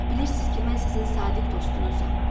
Bilirsiniz ki, mən sizin sadiq dostunuzam.